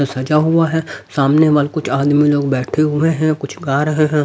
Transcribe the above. सजा हुआ है सामने वाल कुछ आदमी लोग बैठे हुए हैं कुछ गा रहे हैं।